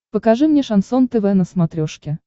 покажи мне шансон тв на смотрешке